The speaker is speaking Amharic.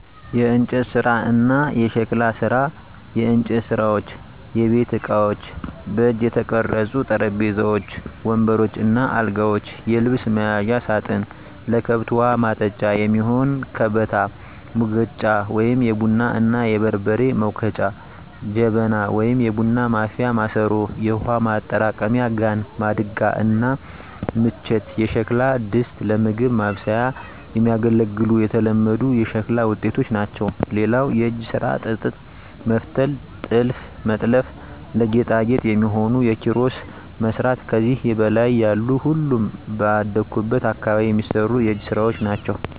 **የእንጨት ስራ እና የሸክላ ስራ፦ *የእንጨት ስራዎች * የቤት እቃዎች: በእጅ የተቀረጹ ጠረጴዛዎች፣ ወንበሮች እና አልጋዎች፣ የልብስ መያዣ ሳጥን፣ ለከብት ውሀ ማጠጫ የሚሆን ከበታ፣ ሙገጫ(የቡና እና የበርበሬ መውገጫ) ጀበና (የቡና ማፍያ ማሰሮ)፣ የውሃ ማጠራቀሚያ ጋን፣ ማድጋ እና ምንቸት የሸክላ ድስቶች ለምግብ ማብሰያ የሚያገለግሉ የተለመዱ የሸክላ ውጤቶች ናቸው። *ሌላው የእጅ ስራ ጥጥ መፍተል *ጥልፍ መጥለፍ *ለጌጣጌጥ የሚሆኑ ኪሮስ መስራት ከዚህ በላይ ያሉ ሁሉም ባደኩበት አካባቢ የሚሰሩ የእጅ ስራወች ናቸው።